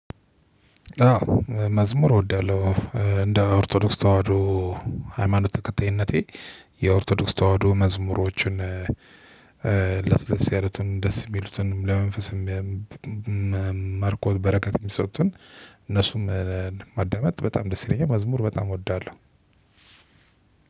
አዎ መዝሙር እወዳለሁ እንደ ኦርቶዶክስ ተዋህዶ ሃይማኖት ተከታይነቴ የኦርቶዶክስ ተዋህዶ መዝሙሮችን ለስለስ ያሉትን ደስ የሚሉትን ለመንፈስም ማርከው በረከት የሚሰጡትን እነሱን ማዳመጥ በጣም ደስ ይለኛል። መዝሙር በጣም እወዳለሁ።